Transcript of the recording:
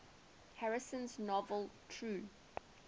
harrison's novel true